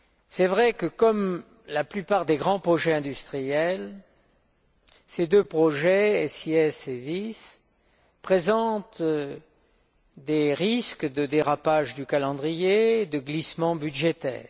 C'est vrai que comme la plupart des grands projets industriels, ces deux projets SIS II et VIS présentent des risques de dérapage du calendrier, de glissement budgétaire.